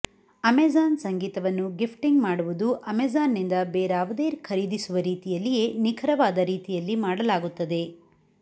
Amazon ಸಂಗೀತವನ್ನು gifting ಮಾಡುವುದು ಅಮೆಜಾನ್ನಿಂದ ಬೇರಾವುದೇ ಖರೀದಿಸುವ ರೀತಿಯಲ್ಲಿಯೇ ನಿಖರವಾದ ರೀತಿಯಲ್ಲಿ ಮಾಡಲಾಗುತ್ತದೆ